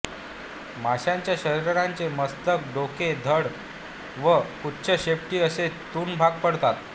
माशाच्या शरीराचे मस्तक डोके धड व पुच्छ शेपटी असे तून भाग पडतात